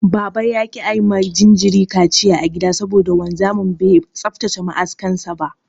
Baba ya ƙi ayi ma jinjirin kaciya a gida saboda wanzami bai tsaftace ma'askan sa ba.